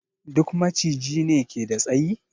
Duk Maciji ne ke da tsayi?